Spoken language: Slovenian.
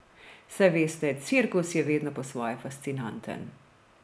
Saj veste, cirkus je vedno po svoje fascinanten.